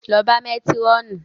Lọ bá Métírọ̀nù!